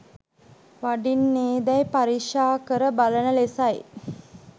වඩින්නේදැයි පරීක්‍ෂා කර බලන ලෙසයි.